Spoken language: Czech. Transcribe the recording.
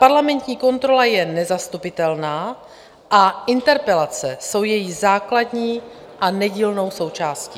Parlamentní kontrola je nezastupitelná a interpelace jsou její základní a nedílnou součástí.